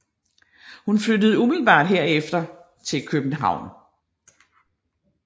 Hun flyttede umiddelbart herefter til København